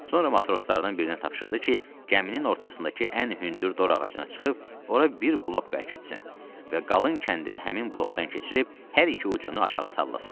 Sonra matroslardan birinə tapşırdı ki, gəminin ortasındakı ən hündür dorağacına çıxıb, ora bir blok bərkitsin və qalın kəndili həmin blokdan keçirib hər iki ucunu aşağı salllasın.